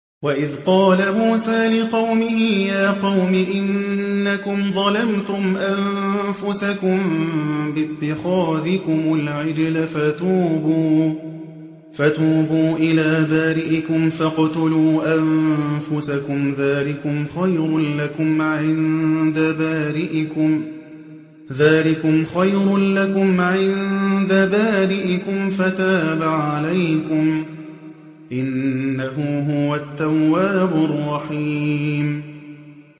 وَإِذْ قَالَ مُوسَىٰ لِقَوْمِهِ يَا قَوْمِ إِنَّكُمْ ظَلَمْتُمْ أَنفُسَكُم بِاتِّخَاذِكُمُ الْعِجْلَ فَتُوبُوا إِلَىٰ بَارِئِكُمْ فَاقْتُلُوا أَنفُسَكُمْ ذَٰلِكُمْ خَيْرٌ لَّكُمْ عِندَ بَارِئِكُمْ فَتَابَ عَلَيْكُمْ ۚ إِنَّهُ هُوَ التَّوَّابُ الرَّحِيمُ